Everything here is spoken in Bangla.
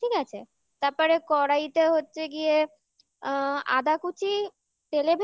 ঠিক আছে তারপরে কড়াইতে হচ্ছে গিয়ে আ আদা কুচি